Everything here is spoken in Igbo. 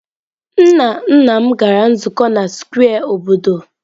Nna nna m gara nzukọ na square obodo.